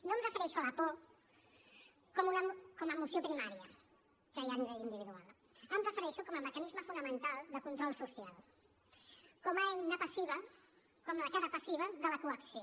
no em refereixo a la por com a emoció primària que hi ha a nivell individual m’hi refereixo com a mecanisme fonamental de control social com a eina passiva com la cara passiva de la coacció